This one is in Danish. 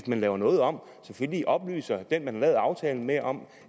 man laver noget om selvfølgelig oplyser den man har lavet aftalen med om